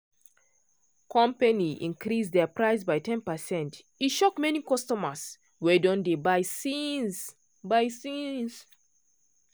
company increase their price by ten percent e shock many customers wey don dey buy since. buy since.